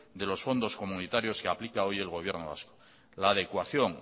de los fondos comunitarios que aplica hoy el gobierno vasco la adecuación